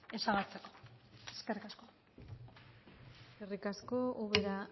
ezabatzeko eskerrik asko eskerrik asko ubera